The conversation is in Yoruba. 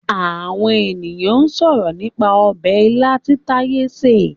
Àwọn ènìyàn ń sọ̀rọ̀ nípa ọbẹ̀ ilá tí Taiye sè